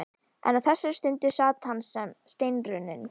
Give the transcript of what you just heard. En á þessari stundu sat hann sem steinrunninn.